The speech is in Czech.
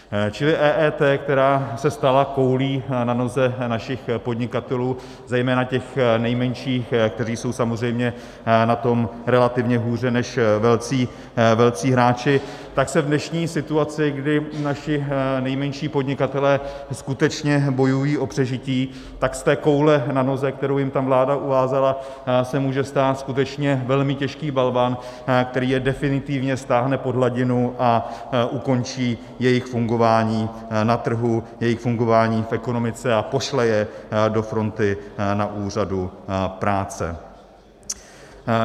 Čili EET, která se stala koulí na noze našich podnikatelů, zejména těch nejmenších, kteří jsou samozřejmě na tom relativně hůře než velcí hráči, tak se v dnešní situaci, kdy naši nejmenší podnikatelé skutečně bojují o přežití, tak z té koule na noze, kterou jim tam vláda uvázala, se může stát skutečně velmi těžký balvan, který je definitivně stáhne pod hladinu a ukončí jejich fungování na trhu, jejich fungování v ekonomice a pošle je do fronty na úřadu práce.